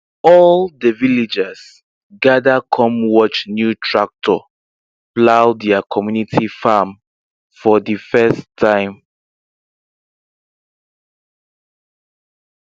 all the villagers gather come watch new tractor plow their community farm for the first time